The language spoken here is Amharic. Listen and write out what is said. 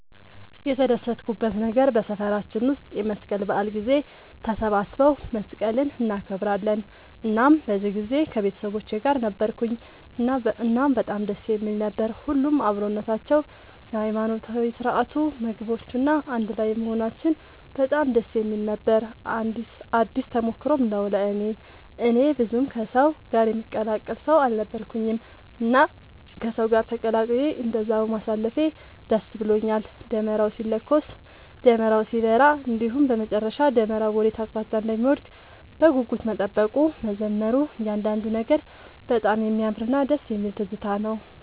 የተደሰትኩበት ነገር በሰፈራችን ውስጥ የመስቀል በዓል ጊዜ ተሰባስበው መስቀልን እናከብራለን እናም በዚህ ጊዜ ከቤተሰቦቼ ጋር ነበርኩኝ እናም በጣም ደስ የሚል ነበር። ሁሉም አብሮነታቸው፣ የሃይማኖታዊ ስርዓቱ፣ ምግቦቹ፣ እና አንድ ላይም መሆናችን በጣም ደስ የሚል ነበር ነው። አዲስ ተሞክሮም ነው ለእኔ። እኔ ብዙም ከሰው ጋር የምቀላቀል ሰው አልነበርኩኝም እና ከሰው ጋር ተቀላቅዬ እንደዛ በማሳለፌ ደስ ብሎኛል። ደመራው ሲለኮስ፣ ደመራው ሲበራ እንዲሁም በመጨረሻ ደመራው ወዴት አቅጣጫ እንደሚወድቅ በጉጉት መጠበቁ፣ መዘመሩ እያንዳንዱ ነገር በጣም የሚያምርና ደስ የሚል ትዝታ ነው።